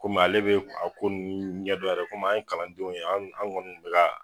Komi ale bɛ a ko nun ɲɛdɔn yɛrɛ komi an ye kalandenw ye an an kɔni kun bɛ ka